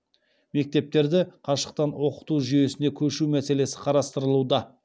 мектептерді қашықтан оқыту жүйесіне көшу мәселесі қарастырылуда